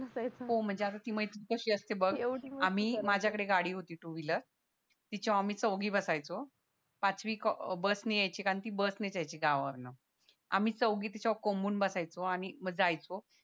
आणि ती मैत्रीचं तशी असते बघ आम्ही माझ्या कडे गाडी होती टू व्हिलर तिच्या वर आम्ही चौघी बसायचो पाचवी बसने यायची कारण ती बसनेच यायची गावावरण आम्ही तिच्यावर कोंबून बसायचो आणि म जायचो